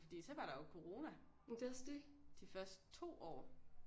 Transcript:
Fordi så var der jo corona de første 2 år